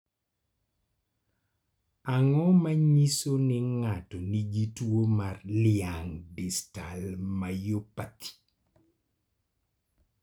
Ang�o ma nyiso ni ng�ato nigi tuo mar Laing distal myopathy?